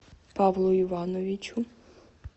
павлу ивановичу